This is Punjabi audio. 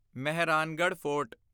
ਮਹਿਰਾਨਗੜ੍ਹ ਫੋਰਟ